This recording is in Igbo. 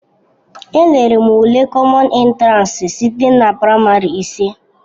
Elere m ule kọmọn entiransi site na praịmarị ise.